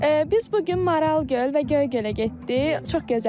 Biz bu gün Maral göl və Göygölə getdik.